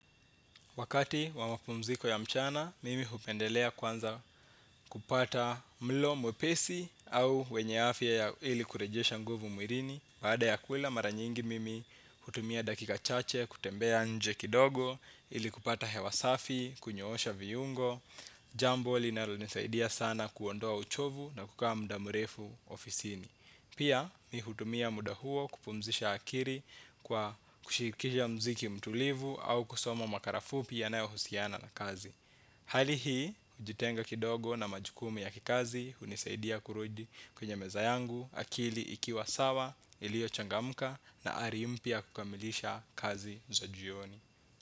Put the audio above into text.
Wakati wamapumziko ya mchana, mimi hupendelea kwanza kupata mlo mwepesi au wenye afya ili kurejesha nguvu mwilini. Baada ya kula mara nyingi mimi hutumia dakika chache, kutembea nje kidogo, ili kupata hewa safi, kunyosha vyuungo. Jambo linalo nisaidia sana kuondoa uchovu na kukaa muda murefu ofisini. Pia mi hutumia muda huo kupumzisha akili kwa kusikiza mziki mtulivu au kusoma makala fupi yanao husiana na kazi. Hali hii, hujitenga kidogo na majukumu ya kikazi hunisaidia kurudi kwenye meza yangu akili ikiwa sawa ilio changamka na ari mpya ya kukamilisha kazi za jioni.